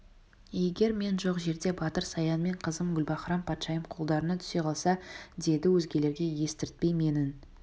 егер мен жоқ жерде батыр саян мен менің қызым гүлбаһрам-патшайым қолдарыңа түсе қалса деді өзгелерге естіртпей менің